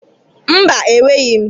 Mba, enweghi m.